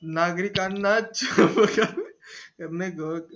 नागरिकांना करणे